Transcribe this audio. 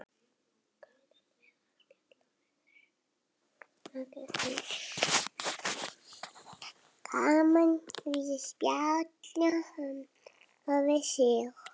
Gaman að spjalla við þig.